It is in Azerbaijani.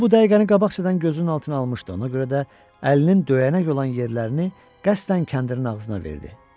O bu dəqiqəni qabaqcadan gözünün altına almışdı, ona görə də əlinin döyənək olan yerlərini qəsdən kəndirin ağzına verdi.